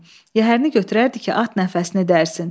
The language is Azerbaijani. Yəhərini götürərdi ki, at nəfəsini dərsin.